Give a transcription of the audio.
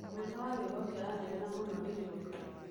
Mũnene wa wĩra ũcio aranegena mũno rĩrĩa oka.